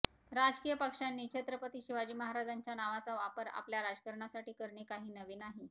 राजकीय पक्षांनी छत्रपती शिवाजी महाराजांच्या नावाचा वापर आपल्या राजकारणासाठी करणे काही नवे नाही